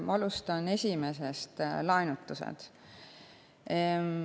Ma alustan esimesest: laenutused.